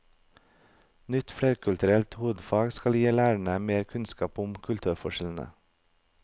Nytt flerkulturelt hovedfag skal gi lærere mer kunnskap om kulturforskjellene.